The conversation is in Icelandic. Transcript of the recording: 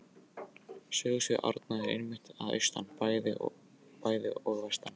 Sögusvið Árna er einmitt að austan bæði og vestan